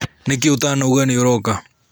Nĩkĩĩ ũtanoiga nĩũroka?